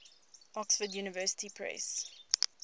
oxford university press